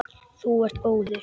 Þú ert góður!